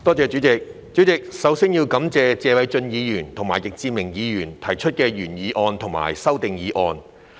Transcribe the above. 主席，首先要感謝謝偉俊議員和易志明議員分別提出的原議案及修正案。